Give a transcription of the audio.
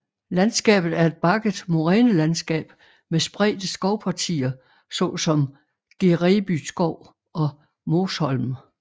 Landskabet er et bakket morænelandskab med spredte skovpartier såsom Gereby Skov og Måsholm